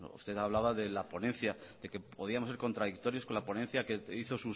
usted me hablaba de la ponencia de que podíamos ser contradictorios con la ponencia que hizo